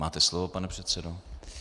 Máte slovo, pane předsedo.